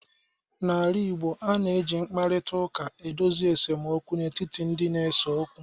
N'ala Igbo, a na-eji mkparịta ụka edozi esemokwu n'etiti ndị na-ese okwu.